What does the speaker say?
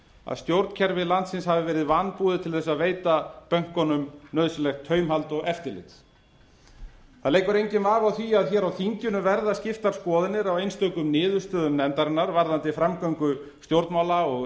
að stjórnkerfi landsins hafi verið vanbúið til þess að veita bönkunum nauðsynlegt taumhald og eftirlit það leikur enginn vafi á því að hér á þinginu verða skiptar skoðanir á einstökum niðurstöðum nefndarinnar varðandi framgöngu stjórnmála og